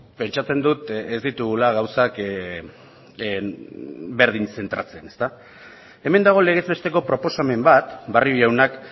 pentsatzen dut ez ditugula gauzak berdin zentratzen hemen dago legez besteko proposamen bat barrio jaunak